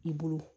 I bolo